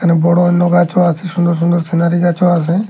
এখানে বড় অন্য গাছও আছে সুন্দর সুন্দর সিনারি গাছও আছে।